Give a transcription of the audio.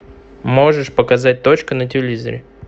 можешь показать точка на телевизоре